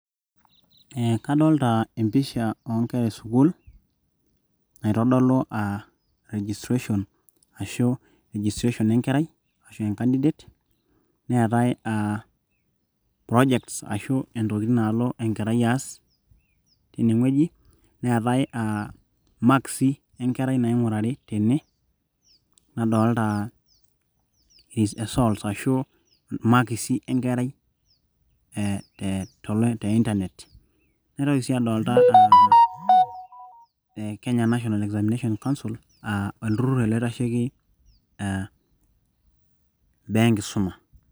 Eh kadolta empisha onkera esukuul, naitodolu ah registration ashu registration enkerai ashu e candidate, neetae ah projects ashu intokiting' nalo enkerai aas, tinewueji. Neetae ah makisi enkerai naing'urari tene. Nadolta esol. Ashu makisi enkerai eh te Internet. Naitoki si adolta ah Kenya National Examinations Council ,ah olturrur ele oitasheki ah mbaa enkisuma.